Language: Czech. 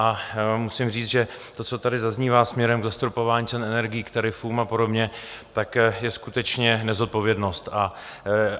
A musím říct, že to, co tady zaznívá směrem k zastropování cen energií, k tarifům a podobně, tak je skutečně nezodpovědnost.